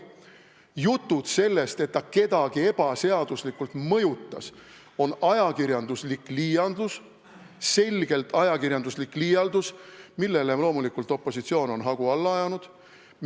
Jutud sellest, et ta kedagi ebaseaduslikult mõjutas, on selgelt ajakirjanduslik liialdus, millele opositsioon on loomulikult hagu alla ajanud.